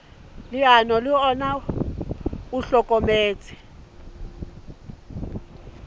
leano le ona o hlokometse